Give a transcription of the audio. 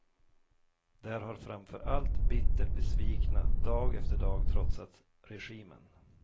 Där har framför allt bittert besvikna dag efter dag trotsat regimen.